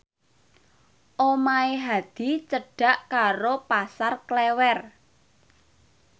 omahe Hadi cedhak karo Pasar Klewer